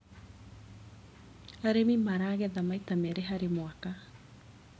Arĩmi maragetha maita merĩ harĩ mwaka.